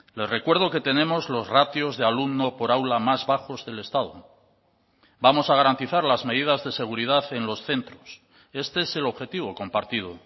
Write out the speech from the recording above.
le recuerdo que tenemos los ratios de alumno por aula más bajos del estado vamos a garantizar las medidas de seguridad en los centros este es el objetivo compartido